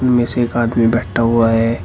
में से एक आदमी बैठा हुआ है।